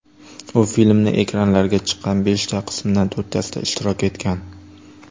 U filmning ekranlarga chiqqan beshta qismidan to‘rttasida ishtirok etgan.